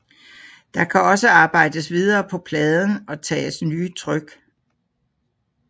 Der kan også arbejdes videre på pladen og tages nye tryk